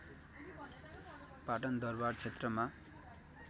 पाटन दरबार क्षेत्रमा